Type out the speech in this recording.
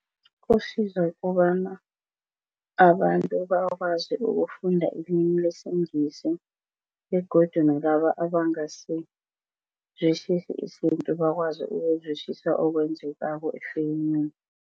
Kusiza kobana abantu bakwazi ukufunda ilimi lesiNgisi begodu nalaba abangasizwisisi isintu bakwazi ukuzwisisa okwenzekako efilimini.